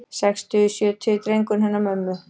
Sextugi, sjötugi drengurinn hennar mömmu.